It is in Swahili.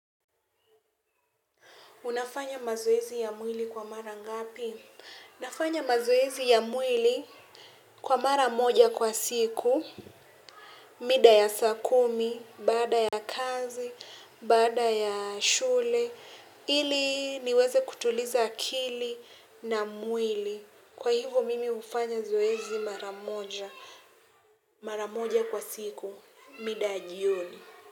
Unafanya mazoezi ya mwili kwa mara ngapi? Nafanya mazoezi ya mwili kwa mara moja kwa siku, mida ya saa kumi, baada ya kazi, baada ya shule. Ili niweze kutuliza akili na mwili. Kwa hivyo mimi hufanya zoezi mara moja kwa siku mida ya jioni.